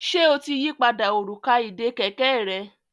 Ṣe o tí yí pàdà Òrùka ìdè kẹ̀kẹ́ rẹ?